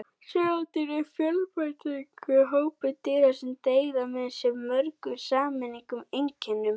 Seildýr eru fjölbreytilegur hópur dýra sem deila með sér mörgum sameiginlegum einkennum.